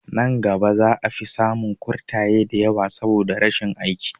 Nan gaba za a fi samun kurtaye da yawa saboda rashin aiki